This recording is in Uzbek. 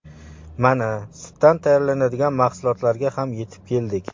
Mana, sutdan tayyorlanadigan mahsulotlarga ham yetib keldik.